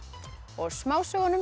og